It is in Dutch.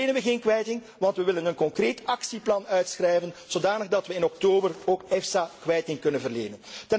Nu verlenen we geen kwijting, want we willen een concreet actieplan uitschrijven, zodat we in oktober ook EFSA kwijting kunnen verlenen.